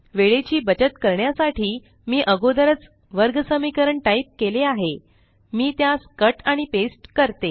वेळेची बचत करण्यासाठी मी अगोदरच वर्गसमीकरण टाइप केले आहे मी त्यास कट आणि पेस्ट करते